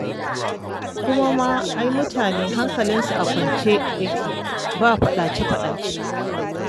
Kuma ma ai mutane hankalinsu a kwance yake ba faɗace-faɗace.